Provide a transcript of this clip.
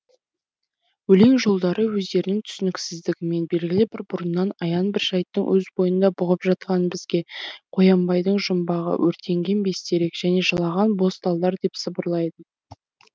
өлең жолдары өздерінің түсініксіздігімен белгілі бір бұрыннан аян бір жайттың өз бойында бұғып жатқанын бізге қоянбайдың жұмбағы өртенген бестерек және жылаған боз талдар деп сыбырлайды